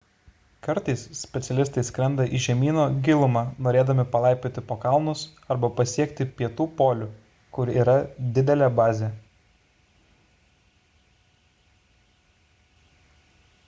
kartais specialistai skrenda į žemyno gilumą norėdami palaipioti po kalnus arba pasiekti pietų polių kur yra didelė bazė